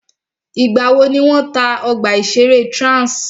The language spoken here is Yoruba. Ìgbà wò ni wọ́n tá ọgbà ìṣẹ̀rẹ́ Trans?